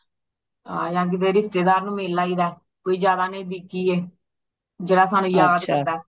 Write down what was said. ਹਾਂ ਯਾ ਕਿਸੇ ਰਿਸ਼ਤੇਦਾਰ ਨੂੰ ਮਿਲ ਆਈਦਾ ਕੋਈ ਜ਼ਿਆਦਾ ਨਜਦੀਕੀ ਏ ਜੇੜਾ ਸਾਨੂ ਯਾਦ ਕਰਦਾ